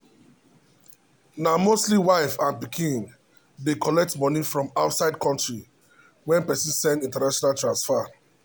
na mostly wife and pikin dey collect money from outside country when person send international transfer.